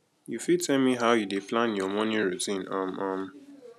you fit tell me how you dey plan your morning routine um um